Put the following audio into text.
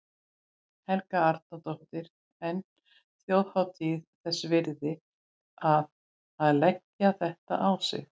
Helga Arnardóttir: En þjóðhátíð þess virði að, að leggja þetta á sig allt?